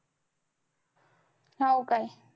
हाव काय?